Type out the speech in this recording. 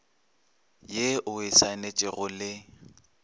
ye o e saenetšego le